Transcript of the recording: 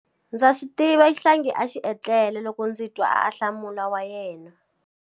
Ndza swi tiva xihlangi a xi etlele loko ndzi twa ahlamulo wa yena.